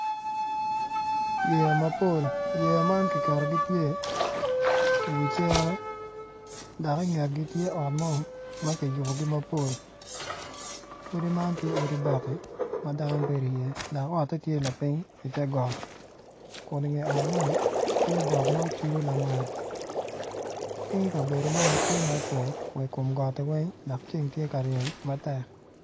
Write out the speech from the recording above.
Yeya mapol yeya man kiketogi gitye i wiye dok i ngetgi tye ot ma kiyubo mapol odi man tye odi bati ma dano bedo iye dok otte tye lapiny i tegot kun i nget ot man tye got ma ocudo lamal.